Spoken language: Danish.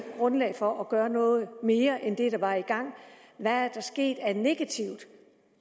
grundlag for at gøre noget mere end det der var i gang hvad er der sket af negativt